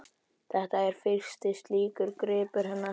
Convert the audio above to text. Þetta er fyrsti slíkur gripur hennar, frá